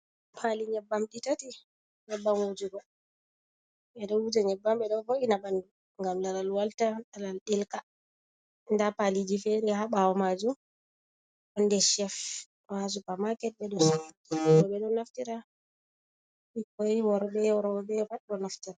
Pali nyebbam di tati. Nyebbam hujugo. Bedo huje nyebbam be ɗoo vo'ina banɗu ngam laral walta. Ralar delka. Nda paliji feri ha bawo majum. Ɗon nɗer chef, do ha soopa maket. Be ɗo sorra bo be do naftira bikkoi, worbe robe pat ɗo naftira.